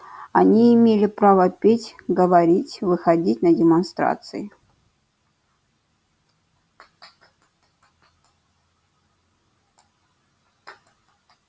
они имели право петь говорить выходить на демонстрации